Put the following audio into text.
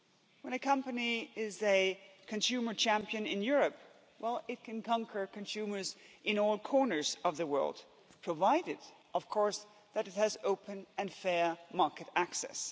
When a company is a consumer champion in Europe, well it can conquer consumers in all corners of the world, provided of course that it has open and fair market access.